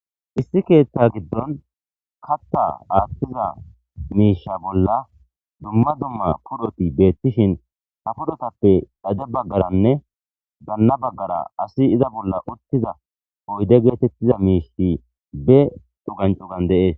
Issi ketha giddoni katha athiza misha bollani dumma dumma puloti betishin ha pulotape xadde bagara nne ganna baggara asati iza bolla utiza oyide getetida mishi cugani cugani desi